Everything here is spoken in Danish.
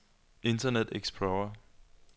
internet explorer